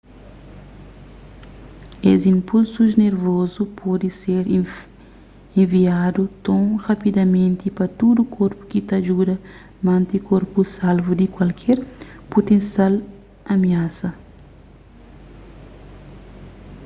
es inpulsus nervozu pode ser enviadu ton rapidamenti pa tudu korpu ki ta djuda mante korpu salvu di kualker putensial amiasa